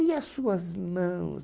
E as suas mãos?